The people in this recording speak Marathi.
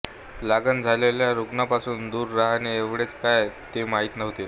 लागण झालेल्या रुग्णांपासून दूर राहणे एवढेच काय ते माहीत होते